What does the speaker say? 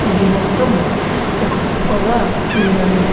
ఇవి మొత్తం ఒక కుప్పగా ఉన్నాయి.